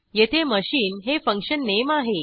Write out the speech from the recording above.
येथे मशीन हे function name आहे